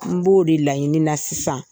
N b'o de laɲini na sisan.